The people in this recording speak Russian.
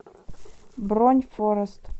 бронь форест